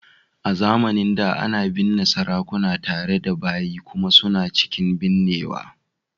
A zamanin da, ana binne sarakuna tare da bayi kuma suna cikin binnewa